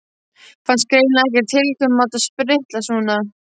Fannst greinilega ekkert tiltökumál að striplast svona.